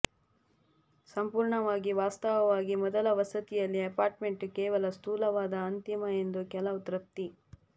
ಸಂಪೂರ್ಣವಾಗಿ ವಾಸ್ತವವಾಗಿ ಮೊದಲ ವಸತಿಯಲ್ಲಿ ಅಪಾರ್ಟ್ಮೆಂಟ್ ಕೇವಲ ಸ್ಥೂಲವಾದ ಅಂತಿಮ ಎಂದು ಕೆಲವು ತೃಪ್ತಿ